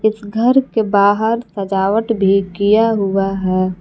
इस घर के बाहर सजावट भी किया हुआ है।